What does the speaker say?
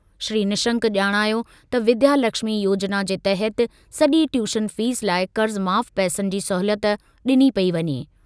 श्री निशंक ॼाणायो त विद्यालक्ष्मी योजना जे तहति सॼी ट्यूशन फीस लाइ क़र्ज़ माफ़ पैसनि जी सहूलियत ॾिनी पेई वञे।